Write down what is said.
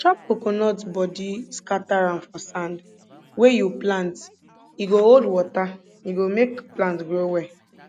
chop coconut body scatter am for sand wey you plant e go hold water e go make plant grow well